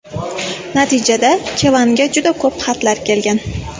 Natijada Kevanga juda ko‘p xatlar kelgan.